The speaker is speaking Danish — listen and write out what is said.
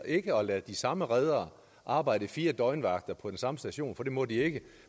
ikke har ladet de samme redere arbejde i fire døgnvagter på den samme station for det må de ikke